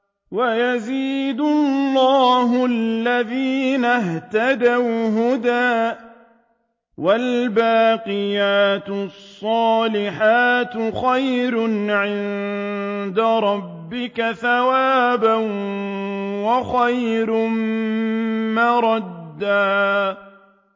وَيَزِيدُ اللَّهُ الَّذِينَ اهْتَدَوْا هُدًى ۗ وَالْبَاقِيَاتُ الصَّالِحَاتُ خَيْرٌ عِندَ رَبِّكَ ثَوَابًا وَخَيْرٌ مَّرَدًّا